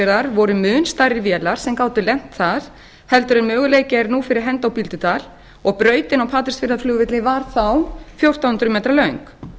patreksfjarðar voru mun stærri vélar sem gátu lent þar heldur en möguleiki er á fyrir hendi á bíldudal og brautin á patreksfjarðarflugvelli var þá fjórtán hundruð metra löng